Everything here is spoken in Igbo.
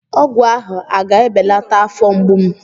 Ọgwụ ahụ a ga-ebelata afọ mgbu m?